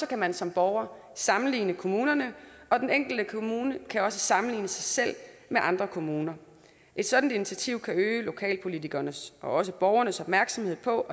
kan man som borger sammenligne kommunerne og den enkelte kommune kan også sammenligne sig selv med andre kommuner et sådant initiativ kan øge lokalpolitikernes og borgernes opmærksomhed på